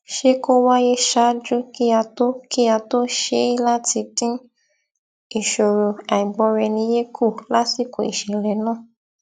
ṣe kó wáyé ṣáájú kí a tó kí a tó ṣe é láti dín ìṣòro àìgbọraẹniyé kù lásìkò ìṣẹlẹ náà